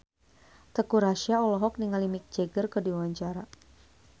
Teuku Rassya olohok ningali Mick Jagger keur diwawancara